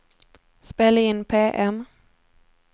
spela in PM